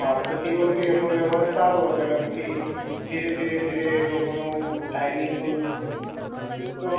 હા તો તે વખતે એમનો વ્યવહાર સારો હતો અને પછી ધીરે ધીરે ધીરે એ લોકોનું timing નું તો